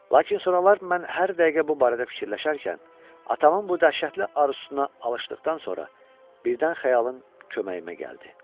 Lakin sonralar mən hər dəqiqə bu barədə fikirləşərkən, atamın bu dəhşətli arzusuna alışdıqdan sonra birdən xəyalım köməyimə gəldi.